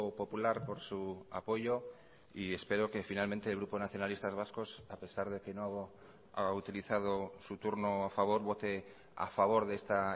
popular por su apoyo y espero que finalmente el grupo nacionalistas vascos a pesar de que no ha utilizado su turno a favor vote a favor de esta